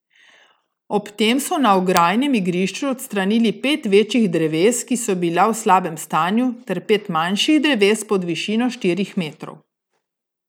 Ob tem so na ograjenem igrišču odstranili pet večjih dreves, ki so bila v slabem stanju, ter pet manjših dreves pod višino štirih metrov.